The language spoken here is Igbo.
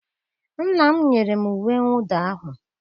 nna m nyere m uwe mwụda ahụ